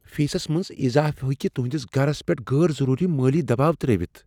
فیسس منٛز اضافہٕ ہؠکہ تہنٛدس گَرس پؠٹھ غٲر ضروری مٲلی دباو ترٛٲوتھ۔